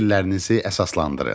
Fikirlərinizi əsaslandırın.